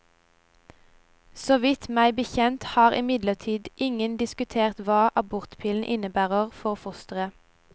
Så vidt meg bekjent har imidlertid ingen diskutert hva abortpillen innebærer for fosteret.